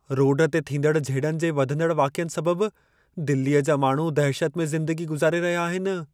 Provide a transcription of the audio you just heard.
Road ते थींदड़ झेड़नि जे वधंदड़ वाक़यनि सबबु दिल्लीअ जा माण्हू दहिशत में ज़िंदगी गुज़ारे रहिया आहिनि।